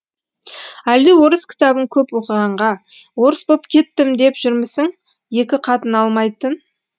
әлде орыс кітабын көп оқығанға орыс боп кеттім деп жүрмісің екі қатын алмайтын